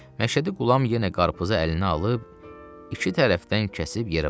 Məşədi Qulam yenə qarpızı əlinə alıb, iki tərəfdən kəsib yerə vurdu.